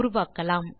உருவாக்கலாம்